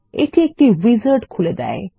এটি একটি উইজার্ড খুলে দেয়